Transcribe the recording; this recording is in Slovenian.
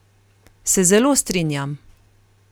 Se zelo strinjam.